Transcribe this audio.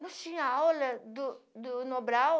Nós tínhamos aula do do do Nobral.